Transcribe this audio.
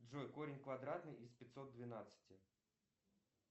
джой корень квадратный из пятьсот двенадцати